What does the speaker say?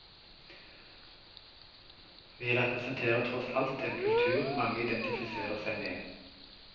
Vi representerer tross alt en kultur mange identifiserer seg med.